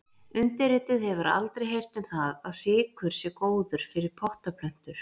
Undirrituð hefur aldrei heyrt um það að sykur sé góður fyrir pottaplöntur.